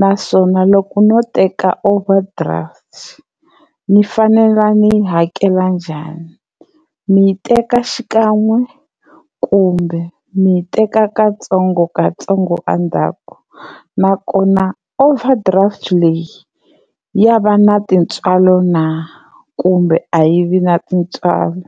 naswona loko no teka overdraft ni fanele ni yi hakela njhani? Ni yi teka xikan'we kumbe ni teka katsongokatsongo endzhaku? Nakona overdraft ya va na tintswalo na kumbe a yi vi na tintswalo?